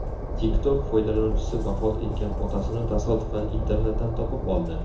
TikTok foydalanuvchisi vafot etgan otasini tasodifan internetdan topib oldi.